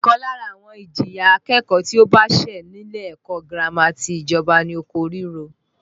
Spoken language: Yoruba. Ọ̀kan lára àwọn ìjìyà akẹ́kọ̀ọ́ tí ó bá ṣẹ̀ nílé ẹ̀kọ́ girama ti ìjọba ni oko ríro